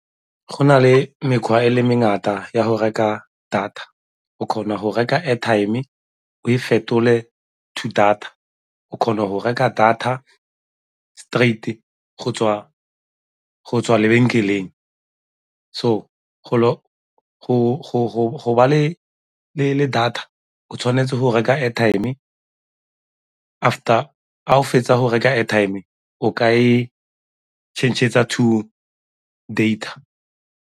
Go na le mekgwa e le mengata ya go reka data, o kgona go reka airtime o e fetole to data, o kgona go reka data straight-e go tswa lebenkeleng. So, go ba le data o tshwanetse go reka airtime after o fetsa go reka airtime o ka e change-etsa to data.